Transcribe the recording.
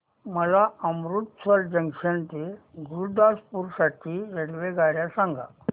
मला अमृतसर जंक्शन ते गुरुदासपुर साठी रेल्वेगाड्या सांगा